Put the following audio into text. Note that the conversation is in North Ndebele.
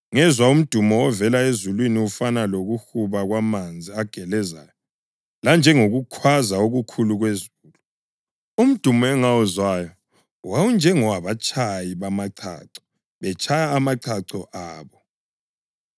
Ngezwa umdumo ovela ezulwini ufana lokuhuba kwamanzi agelezayo lanjengokukhwaza okukhulu kwezulu. Umdumo engawuzwayo wawunjengowabatshayi bamachacho betshaya amachacho abo.